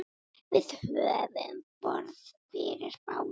Við höfum borð fyrir báru.